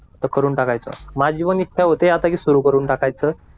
तर करून टाकायच माझी पण इच्छा होते आता की सुरू करून टाकायचं